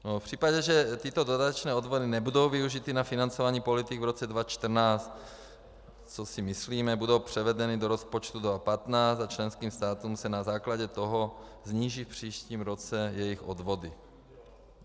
V případě, že tyto dodatečné odvody nebudou využity na financování politik v roce 2014, což si myslíme, budou převedeny do rozpočtu 2015 a členským státům se na základě toho sníží v příštím roce jejich odvody.